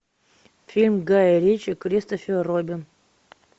фильм гая ричи кристофер робин